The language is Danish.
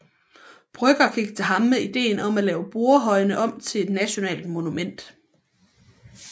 Brøgger gik til ham med ideen om at lave Borrehøjene om til et nationalt monument